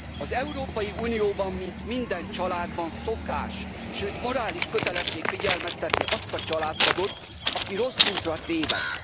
Az Európai Unióban, mint minden családban szokás, sőt morális kötelesség figyelmeztetni azt a családtagot, aki rossz útra tévedt.